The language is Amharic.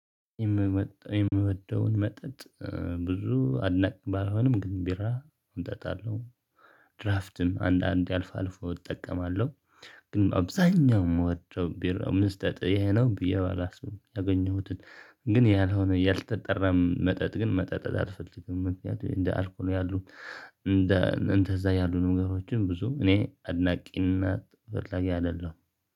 የምወደውን መጠጥ ብዙ አድናቂ ባልሆንም ግን ቢራ አምጣጣለሁ። አንዳንዴ አልፎ አልፎ እጠቀማለሁ። ግን አብዛኛው የምወደው ቢራ መጠጥ ይሄ ነው። ብዬ ባላስብ ያገኘሁትን ግን ያልሆነ ያልተጠራም መጠጥ ግን መጠጣት አልፈልግም። ምክንያቱም እንደ አልኮል ያሉ እንደ እንደዛ ያሉ ነገሮችን ብዙ እኔ አድናቂነት በላይ አይደለሁም።